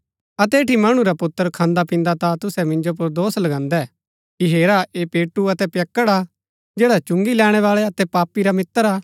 अतै ऐठी मणु रा पुत्र खान्दापिन्दा ता तुसै मिन्जो पुर दोष लगान्दै कि हेरा ऐह पेटू अतै पियक्कड़ हा जैडा चुंगी लैणैबाळै अतै पापी रा मित्र हा